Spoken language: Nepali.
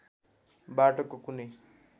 बाटोको कुनै